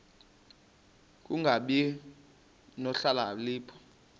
ku kungabi nokhalipho